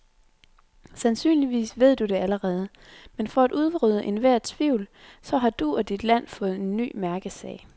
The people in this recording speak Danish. Sandsynligvis ved du det allerede, men for at udrydde enhver tvivl, så har du og dit land fået en ny mærkesag.